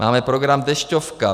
Máme program Dešťovka.